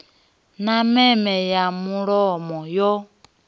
na meme ya mulomo yo